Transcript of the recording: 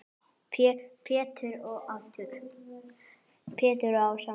Pétur og Ása.